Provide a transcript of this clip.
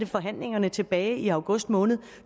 forhandlingerne tilbage i august måned